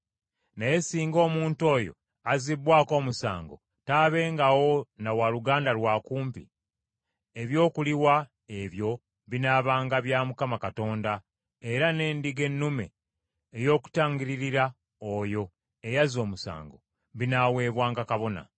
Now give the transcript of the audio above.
Naye singa omuntu oyo azzibbwako omusango taabengawo na waaluganda lwa kumpi, eby’okuliwa ebyo binaabanga bya Mukama Katonda era n’endiga ennume ey’okutangiririra oyo eyazza omusango, binaaweebwanga kabona.